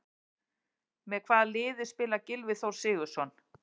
Með hvaða liði spilar Gylfi Þór Sigurðsson?